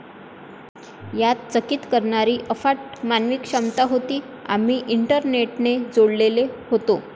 यात चकित करणारी अफाट मानवी क्षमता होती. आम्ही इंटरनेटने जोडलेले होतो.